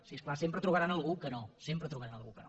sí és clar sempre trobaran algú que no sempre trobaran algú que no